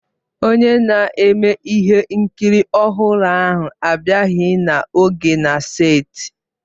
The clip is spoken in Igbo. Onye na-eme ihe nkiri ọhụrụ ahụ abịaghị n'oge na seeti.